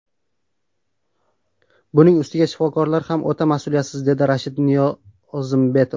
Buning ustiga, shifokorlari ham o‘ta mas’uliyatsiz”, dedi Rashid Niyozimbetov.